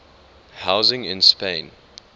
housing in spain